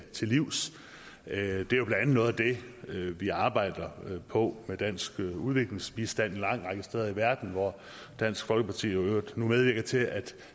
til livs det er jo noget af det vi arbejder på med dansk udviklingsbistand en lang række steder i verden og hvor dansk folkeparti i øvrigt nu medvirker til at